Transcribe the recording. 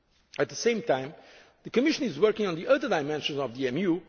coming weeks. At the same time, the Commission is working on the other dimensions